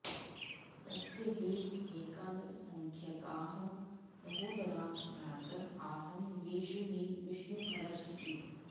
तस्य हि एकादशसङ्ख्यकाः सहोदरा भ्रातर आसन् येषु हि विष्णुखरज इति